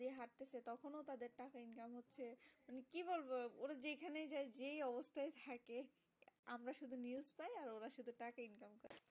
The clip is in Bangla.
কি বলবো ওরা যেখানেই যাই যেই অবস্তাই থাকে আমরা শুধু News পাই ওরা শুধু টাকা income করে